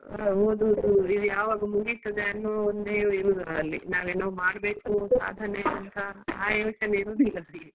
ಹೌದು ಇದು ಯಾವಾಗ ಮುಗಿತದೆ ಅನ್ನೋ ಒಂದೇ ನಾವು ಏನೋ ಮಾಡ್ಬೇಕು ಸಾಧನೆ ಅಂತ ಆ ಯೋಚನೆ ಇರೋದಿಲ್ಲ ಅವರಿಗೆ.